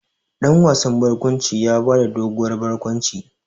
Dan wasan barkwanci ya ba da doguwar barkwanci.